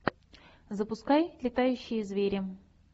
запускай летающие звери